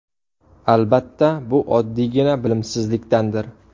Albatta bu oddiygina bilimsizlikdandir.